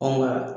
Ɔ nka